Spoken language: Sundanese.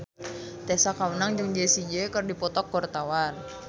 Tessa Kaunang jeung Jessie J keur dipoto ku wartawan